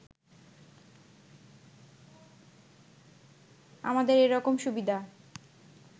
আমাদের এরকম সুবিধা